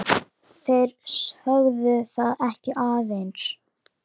Þeir sögðu það ekki aðeins.